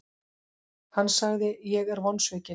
Hann sagði:, Ég er mjög vonsvikinn.